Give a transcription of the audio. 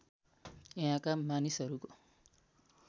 यहाँका मानिसहरूको